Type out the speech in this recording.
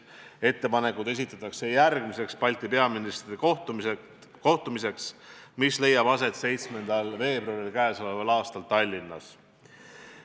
Ettepanekud esitatakse järgmiseks Balti peaministrite kohtumiseks, mis leiab aset k.a 7. veebruaril Tallinnas.